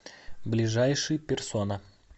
ближайший персона